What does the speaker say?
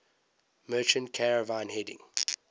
merchant caravan heading